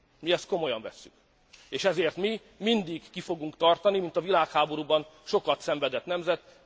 Mi ezt komolyan vesszük, és ezért mi mindig ki fogunk tartani mint a világháborúban sokat szenvedett nemzet.